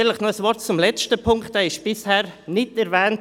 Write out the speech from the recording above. Noch ein Wort zum letzten Punkt, dieser wurde bisher nicht erwähnt.